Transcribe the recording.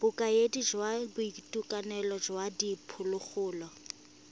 bokaedi jwa boitekanelo jwa diphologolo